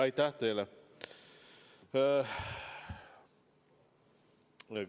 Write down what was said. Aitäh teile!